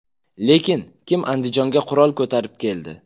Lekin kim Andijonga qurol ko‘tarib keldi?